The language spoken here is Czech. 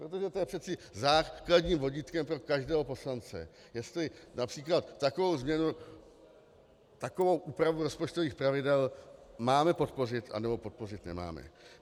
Protože to je přece základním vodítkem pro každého poslance, jestli například takovou změnu, takovou úpravu rozpočtových pravidel máme podpořit, anebo podpořit nemáme.